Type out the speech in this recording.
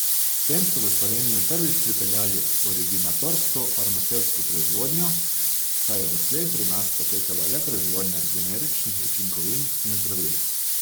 S tem so v Slovenijo prvič pripeljali originatorsko farmacevtsko proizvodnjo, saj je doslej pri nas potekala le proizvodnja generičnih učinkovin in zdravil.